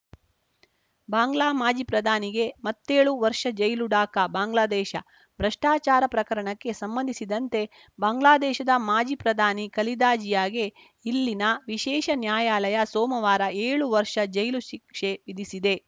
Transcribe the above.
ಬಾಂಗ್ಲಾ ಮಾಜಿ ಪ್ರಧಾನಿಗೆ ಮತ್ತೇಳು ವರ್ಷ ಜೈಲು ಢಾಕಾ ಬಾಂಗ್ಲಾದೇಶ ಭ್ರಷ್ಟಾಚಾರ ಪ್ರಕರಣಕ್ಕೆ ಸಂಬಂಧಿಸಿದಂತೆ ಬಾಂಗ್ಲಾದೇಶದ ಮಾಜಿ ಪ್ರಧಾನಿ ಖಲೀದಾ ಜಿಯಾಗೆ ಇಲ್ಲಿನ ವಿಶೇಷ ನ್ಯಾಯಾಲಯ ಸೋಮವಾರ ಏಳು ವರ್ಷ ಜೈಲು ಶಿಕ್ಷೆ ವಿಧಿಸಿದೆ